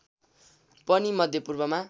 पनि मध्य पूर्वमा